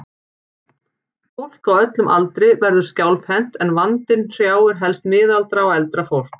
Fólk á öllum aldri verður skjálfhent en vandinn hrjáir helst miðaldra og eldra fólk.